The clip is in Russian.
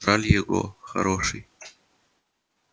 жаль его хороший